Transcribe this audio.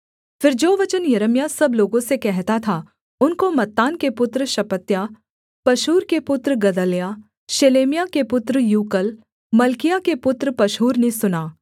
फिर जो वचन यिर्मयाह सब लोगों से कहता था उनको मत्तान के पुत्र शपत्याह पशहूर के पुत्र गदल्याह शेलेम्याह के पुत्र यूकल और मल्किय्याह के पुत्र पशहूर ने सुना